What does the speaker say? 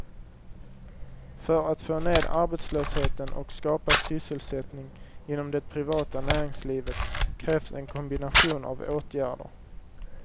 För att få ned arbetslösheten och skapa sysselsättning inom det privata näringslivet krävs en kombination av åtgärder.